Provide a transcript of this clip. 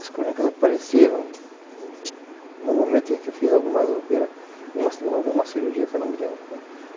As crônicas apareceram no momento em que eu fiz algumas operas, alguma cirurgia que eu não me lembro qual.